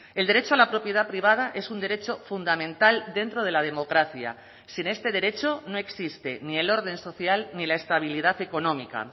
el derecho a la propiedad privada es un derecho fundamental dentro de la democracia sin este derecho no existe ni el orden social ni la estabilidad económica